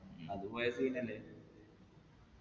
അത് പോയ scene അല്ലെ